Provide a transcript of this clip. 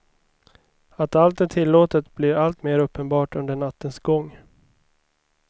Att allt är tillåtet blir alltmer uppenbart under nattens gång.